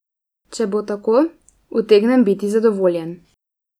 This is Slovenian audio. Če bo tako, utegnem biti zadovoljen.